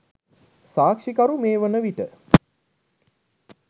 සාක්‍ෂිකරු මේ වනවිට